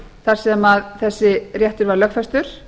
þar sem þessi réttur var lögfestur